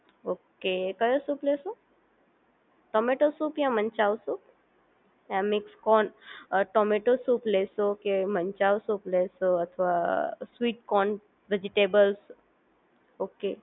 Okay કયો શું લેશો? ટમેટો સૂપ યા મંચાવ સૂપ યા મિક્સ કોર્ન, ટોમેટો સૂપ લેશો કે મંચાવ સૂપ લેશો અથવા સ્વીટ કોર્ન વેજીટેબલ ઓકે